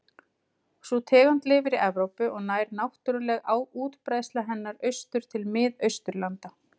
Sú tegund lifir í Evrópu og nær náttúruleg útbreiðsla hennar austur til Mið-Austurlanda.